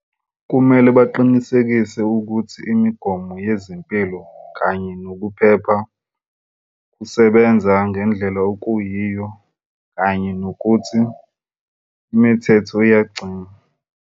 Kumele baqinisekise ukuthi imigomo yezempilo kanye nokuphepha kusebenza ngendlela eyiyo kanye nokuthi imithetho iyagcinwa.